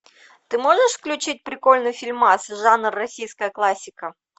ты можешь включить прикольный фильмас жанр российская классика